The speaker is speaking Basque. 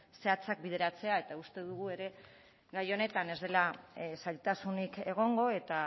zehatzak bideratzea eta uste dugu ere gai honetan ez dela zailtasunik egongo eta